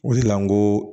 O de la n ko